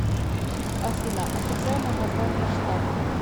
афина официальное название штаты